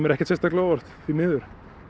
ekkert sérstaklega á óvart því miður